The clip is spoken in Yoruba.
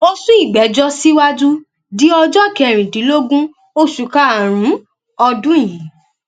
ó sún ìgbẹjọ síwájú di ọjọ kẹrìndínlógún oṣù karùnún ọdún yìí